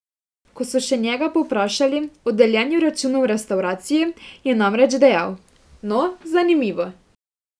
Ko so še njega povprašali o deljenju računov v restavraciji, je namreč dejal: "No, zanimivo.